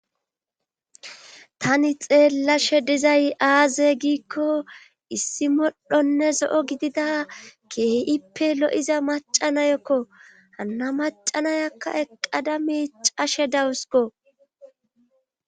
Tani xeellashe dizay aaze giikko issi modhonne zo'o gidida keehippe lo'iza macanayokko hanna macanayakka eqqada mii cashe dawusiko